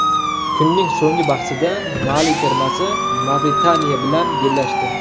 Kunning so‘nggi bahsida Mali termasi Mavritaniya bilan bellashdi.